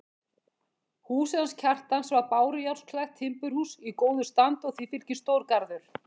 Húsið hans Kjartans var bárujárnsklætt timburhús í góðu standi og því fylgdi stór garður.